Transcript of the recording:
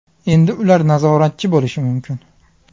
Endi ular nazoratchi bo‘lishi mumkin.